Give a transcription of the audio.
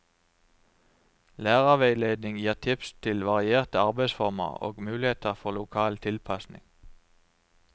Lærerveiledning gir tips til varierte arbeidsformer og muligheter for lokal tilpasning.